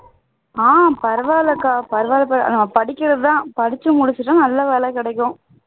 அஹ் பரவாயில்லைக்கா பரவால்ல படிக்கிறதுதான் அடிச்சு முடிச்சுட்டும் நல்ல வேலை கிடைக்கும்